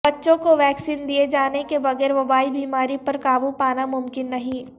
بچوں کو ویکسین دئے جانے کے بغیر وبائی بیماری پر قابو پانا ممکن نہیں